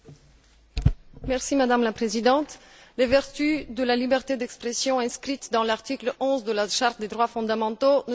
Madame la Présidente, les vertus de la liberté d'expression consacrée par l'article 11 de la Charte des droits fondamentaux ne sont plus à démontrer.